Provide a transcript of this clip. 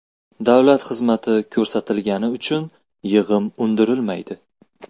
Davlat xizmati ko‘rsatilgani uchun yig‘im undirilmaydi.